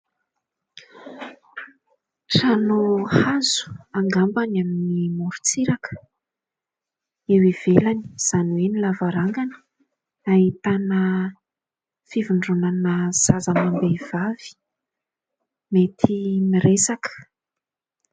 Trano hazo angamba any amin'ny moron-tsiraka. Any ivelany izany hoe eo amin'ny lavarangana ahitana fivondronana zaza amam-behivavy mety miresaka.